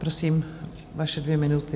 Prosím, vaše dvě minuty.